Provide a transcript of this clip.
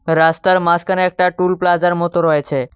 রাস্তার মাঝখানে একটা টুল প্লাজার মতো রয়েছে।